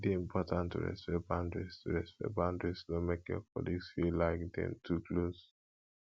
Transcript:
e important to respect boundaries to respect boundaries no make your colleagues feel like dem too close